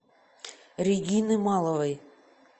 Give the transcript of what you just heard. регины маловой